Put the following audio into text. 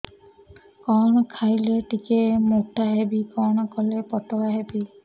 କଣ ଖାଇଲେ ଟିକେ ମୁଟା ହେବି କଣ କଲେ ପତଳା ହେବି